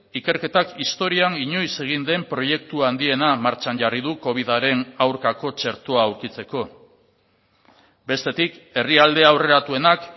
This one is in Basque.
ikerketak historian inoiz egin den proiektu handiena martxan jarri du covidaren aurkako txertoa aurkitzeko bestetik herrialde aurreratuenak